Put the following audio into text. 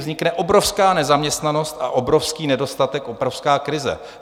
Vznikne obrovská nezaměstnanost a obrovský nedostatek, obrovská krize.